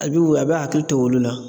A bi o a b'a hakili to olu la